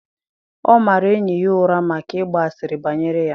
Ọ mara enyi ya ụra maka ịgba asịrị banyere ya.